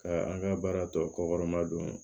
Ka an ka baara tɔ kɔɔrɔma don